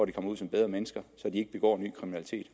de kommer ud som bedre mennesker så de ikke begår ny kriminalitet